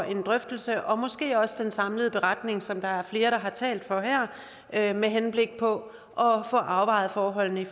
en drøftelse og måske også en samlet beretning som der er flere der har talt om her med henblik på at få afvejet forholdene i